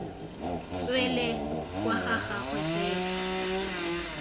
tswele kwa ga gagwe fela